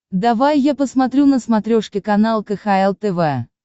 давай я посмотрю на смотрешке канал кхл тв